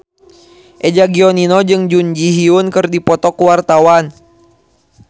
Eza Gionino jeung Jun Ji Hyun keur dipoto ku wartawan